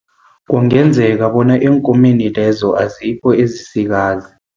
Kungenzeka bona eenkomeni lezo azikho ezisikazi.